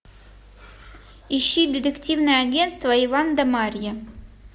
ищи детективное агентство иван да марья